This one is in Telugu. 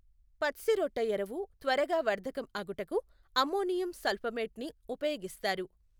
పచ్సిరొట్టఎరువు త్వరగా వర్థకం అగుటకు అమ్మోనియం సల్ఫమేట్ ని ఉపయోగిస్తారు.